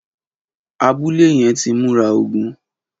Abùlé yèn ti mùrá ógùn